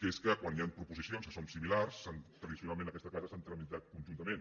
que és que quan hi han proposicions que són similars tradicionalment en aquesta casa s’han tramitat conjuntament